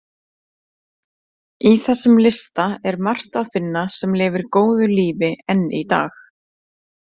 Í þessum lista er margt að finna sem lifir góðu lífi enn í dag.